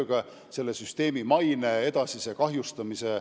Eesmärk on peatada selle süsteemi maine edasine kahjustumine.